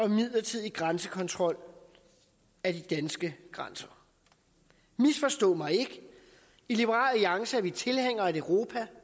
en midlertidig grænsekontrol af de danske grænser misforstå mig ikke i liberal alliance er vi tilhængere af et europa